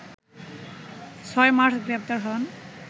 ৬ March গ্রেপ্তার হন